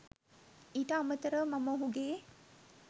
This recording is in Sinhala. ඊට අමතරව මම ඔහුගේ